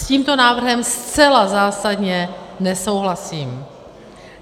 S tímto návrhem zcela zásadně nesouhlasím.